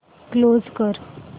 close कर